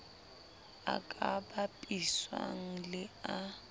a ka bapiswang le a